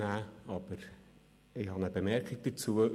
Aber ich habe eine Bemerkung dazu: